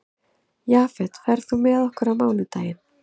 Jafet, ferð þú með okkur á mánudaginn?